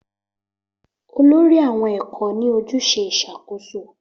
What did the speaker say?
Olórí àwọn ẹ̀kọ́ ní ojúṣe ìṣàkóso